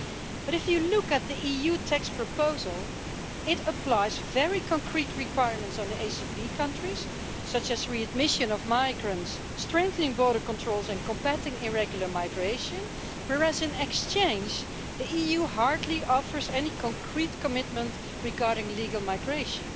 But if you look at the EU text proposal, it applies very concrete requirements on the ACP countries, such as readmission of migrants, strengthening border controls and combating irregular migration, whereas in exchange, the EU hardly offers any concrete commitment regarding legal migration.